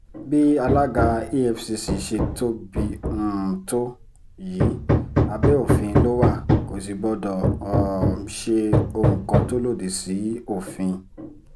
bí alága efcc ṣe tóbi um tó yìí abẹ́ òfin ló wà kò sì gbọdọ̀ um ṣe ohun kan tó lòdì sófin